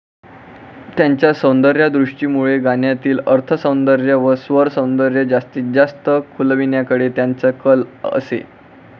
त्यांच्या सौंदर्यदृष्टीमुळे गाण्यातील अर्थसौंदर्य व स्वरसौंदर्य जास्तीत जास्त खुलविण्याकडे त्यांचा कल असे.